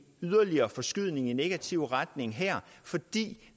yderligere forskydning i negativ retning her fordi